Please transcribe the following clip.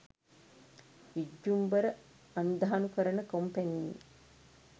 විජ්ජුම්බර අන්ධානුකරණ කොම්පැණියේ